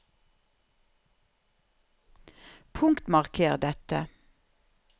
Punktmarker dette